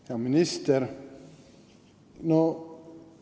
Hea minister!